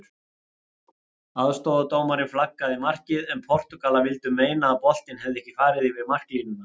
Aðstoðardómarinn flaggaði markið en Portúgalar vildu meina að boltinn hefði ekki farið yfir marklínuna.